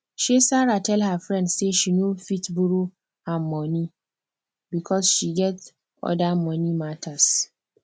um sarah tell her friend say she no fit borrow am money because she get other money matters